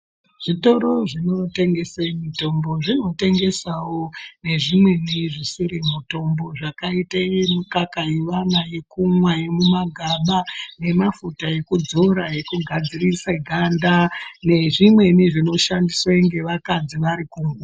Zvitoro zvinotengese mutombo zvinotengesawo nezvimweni zvisiri mutombo zvakaitase mukaka yekumwa yevana yemumagaba nemafuta ekudzora ekugadzirise ganda nezvimweni zvinoshandiswe vakadzi vari.